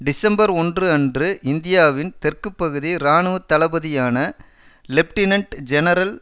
December ஒன்று அன்று இந்தியாவின் தெற்குப்பகுதி இராணுவ தளபதியான லெப்டினன்ட் ஜெனரல்